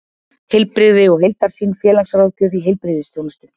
Heilbrigði og heildarsýn: félagsráðgjöf í heilbrigðisþjónustu.